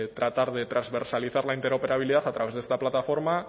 tratar de transversalizar la interoperabilidad a través de esta plataforma